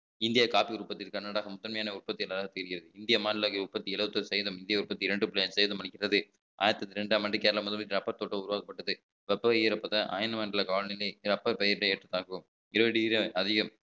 இந்திய coffee உற்பத்தியில் கர்நாடகம் முதன்மையான உற்பத்தியாளராக தெரிகிறது இந்திய மாநிலவை உற்பத்தி எழுபத்தி ஒரு சதவீதம் இந்திய உற்பத்தி இரண்டு புள்ளி அஞ்சு சதவீதம் அளிக்கிறது ஆயிரத்து தொள்ளாயிரத்து இரண்டாம் ஆண்டு கேரளா முதலீடு அப்பர் தோட்டம் உருவாக்கப்பட்டது தொப்பை ஈரப்பத அயன மண்டல ஏழு degree அதிகம்